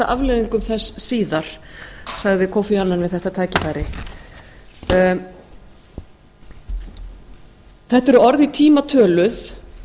afleiðingum þess síðar sagði kofi annan við þetta tækifæri þetta eru orð í tíma töluð